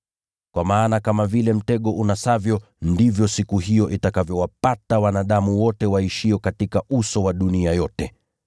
Kwa maana kama vile mtego unasavyo, ndivyo siku hiyo itakavyowapata wanadamu wote waishio katika uso wa dunia yote.